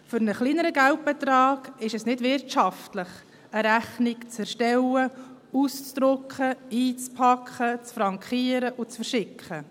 Für einen kleineren Geldbetrag ist es nicht wirtschaftlich, eine Rechnung zu erstellen, auszudrucken, einzupacken, zu frankieren und zu verschicken.